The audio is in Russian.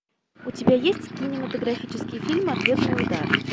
у тебя есть кинематографический фильм ответный удар